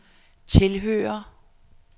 tilhører